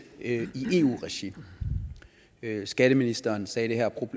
i eu regi skatteministeren sagde her og